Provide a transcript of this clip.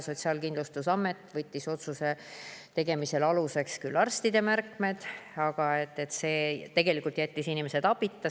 Sotsiaalkindlustusamet võttis otsuse tegemisel aluseks küll arstide märkmed, aga tegelikult jättis inimesed abita.